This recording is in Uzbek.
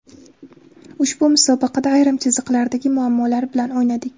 Ushbu musobaqada ayrim chiziqlardagi muammolar bilan o‘ynadik.